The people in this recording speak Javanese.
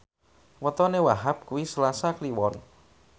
wetone Wahhab kuwi Selasa Kliwon